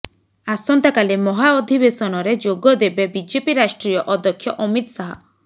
ଆସନ୍ତାକାଲି ମହାଅଧିବେଶନରେ ଯୋଗ ଦେବେ ବିଜେପି ରାଷ୍ଟ୍ରୀୟ ଅଧ୍ୟକ୍ଷ ଅମିତ ଶାହ